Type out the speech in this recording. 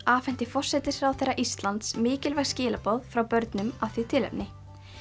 afhenti forsætisráðherra Íslands mikilvæg skilaboð frá börnum af því tilefni